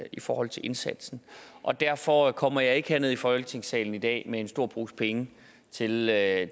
i forhold til indsatsen og derfor kommer jeg ikke herned i folketingssalen i dag med en stor pose penge til at